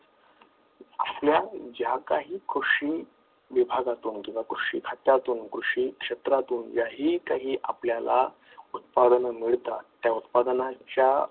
आपल्या ज्या काही कृषी विभागातून किंवा खात्यातून कृषी क्षेत्रातून ज्या ही काही आपल्याला उत्पादन मिळतात त्या उत्पादनाच्या